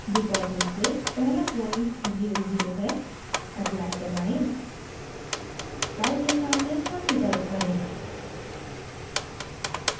default रूप से पहला point zero zero है apply दबाएँ y के सामने 30 type करें